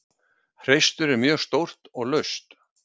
Hreistur er mjög stórt og laust.